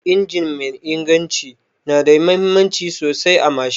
Injin mai inganci nada muhimmanci sosai a mashin